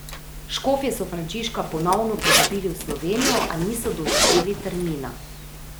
Škofje so Frančiška ponovno povabili v Slovenijo, a niso določili termina.